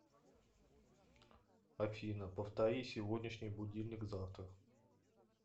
афина повтори сегодняшний будильник завтра